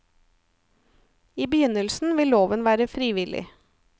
I begynnelsen vil loven være frivillig.